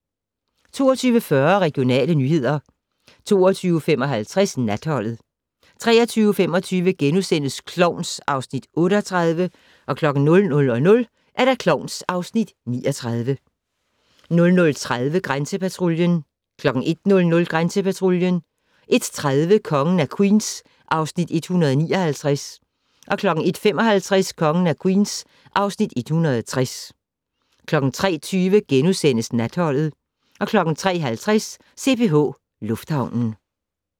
22:40: Regionale nyheder 22:55: Natholdet 23:25: Klovn (Afs. 38)* 00:00: Klovn (Afs. 39) 00:30: Grænsepatruljen 01:00: Grænsepatruljen 01:30: Kongen af Queens (Afs. 159) 01:55: Kongen af Queens (Afs. 160) 03:20: Natholdet * 03:50: CPH Lufthavnen